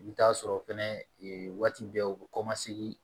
I bɛ t'a sɔrɔ fɛnɛ waati bɛɛ u bɛ kɔmasegin